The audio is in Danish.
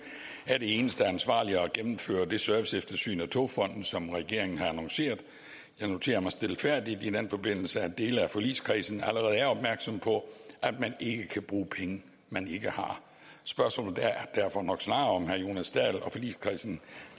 er det eneste ansvarlige at gennemføre det serviceeftersyn af togfonden dk som regeringen har annonceret jeg noterer mig stilfærdigt i den forbindelse at dele af forligskredsen allerede er opmærksom på at man ikke kan bruge penge man ikke har spørgsmålet er derfor nok snarere om herre jonas dahl og forligskredsen